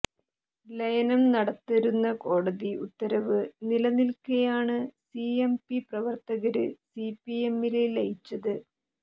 ലയനം നടത്തരുന്ന കോടതി ഉത്തരവ് നിലനില്ക്കെയാണ് സിഎംപി പ്രവര്ത്തകര് സിപിഎമ്മില് ലയിച്ചത്